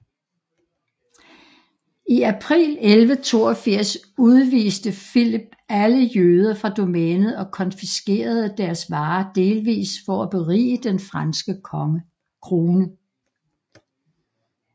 I april 1182 udviste Filip alle jøder fra domænet og konfiskerede deres varer delvist for at berige den franske krone